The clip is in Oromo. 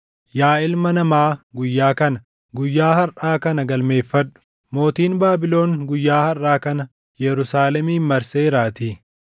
“Yaa ilma namaa guyyaa kana, guyyaa harʼaa kana galmeeffadhu; mootiin Baabilon guyyaa harʼaa kana Yerusaalemin marseeraatii.